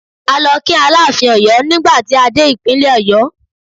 A lọ kí Aláàfin ti Ọ̀yọ́ nígbà tí a dé Ìpínlẹ̀ Ọ̀yọ́.